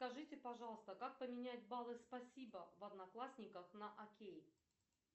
скажите пожалуйста как поменять баллы спасибо в одноклассниках на окей